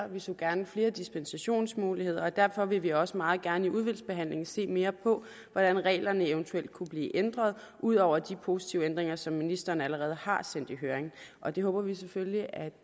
vi så gerne flere dispensationsmuligheder og derfor vil vi også meget gerne i udvalgsbehandlingen se mere på hvordan reglerne eventuelt kunne blive ændret ud over de positive ændringer som ministeren allerede har sendt i høring og det håber vi selvfølgelig at